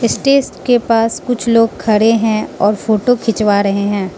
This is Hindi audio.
स्टेज के पास कुछ लोग खड़े हैं और फोटो खिंचवा रहे हैं।